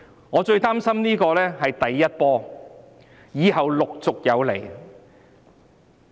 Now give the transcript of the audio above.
我最擔心的是這只是第一波，以後陸續有來。